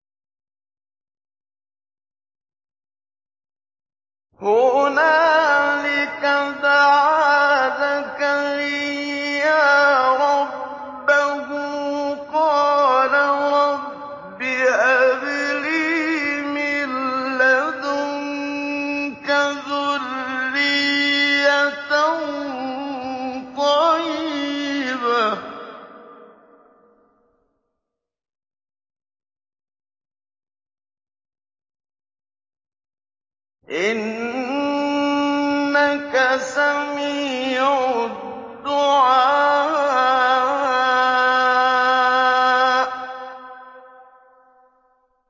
هُنَالِكَ دَعَا زَكَرِيَّا رَبَّهُ ۖ قَالَ رَبِّ هَبْ لِي مِن لَّدُنكَ ذُرِّيَّةً طَيِّبَةً ۖ إِنَّكَ سَمِيعُ الدُّعَاءِ